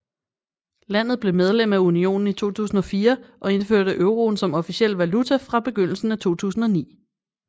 Landet blev medlem af unionen i 2004 og indførte euroen som officiel valuta fra begyndelsen af 2009